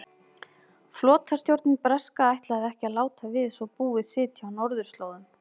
Flotastjórnin breska ætlaði ekki að láta við svo búið sitja á norðurslóðum.